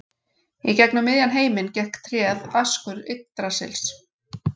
Í gegnum miðjan heiminn gekk tréð Askur Yggdrasils.